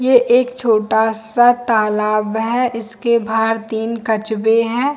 ये एक छोटा सा तालाब है इसके बाहर तीन कछुए है।